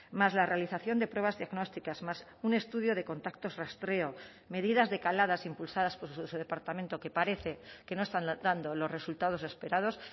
más la realización de pruebas diagnósticas más un estudio de contactos rastreo medidas decaladas impulsadas por su departamento que parece que no están dando los resultados esperados